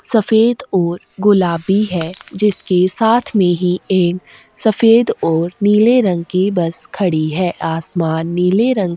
सफेद और गुलाबी है जिसके साथ में ही एक सफेद और नीले रंग की बस खड़ी है आसमान नीले रंग --